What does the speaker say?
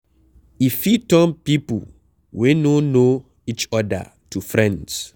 E fit turn pipo wey no know each oda to friends